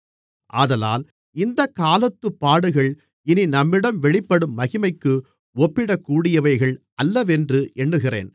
ஆதலால் இந்தக்காலத்துப் பாடுகள் இனி நம்மிடம் வெளிப்படும் மகிமைக்கு ஒப்பிடக்கூடியவைகள் அல்லவென்று எண்ணுகிறேன்